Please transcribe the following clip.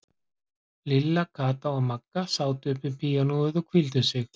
Lilla, Kata og Magga sátu upp við píanóið og hvíldu sig.